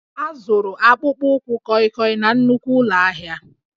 A zụrụ akpụkpọ ụkwụ kọịkọị na nnukwu ụlọ ahịa